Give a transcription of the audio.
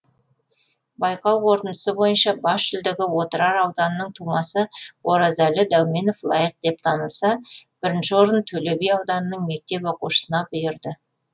байқау қорытындысы бойынша бас жүлдеге отырар ауданының тумасы оразәлі дәуменов лайық деп танылса бірінші орын төлеби ауданының мектеп оқушысына бұйырды